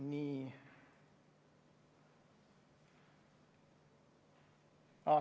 Nii.